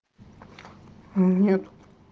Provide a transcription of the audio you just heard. нет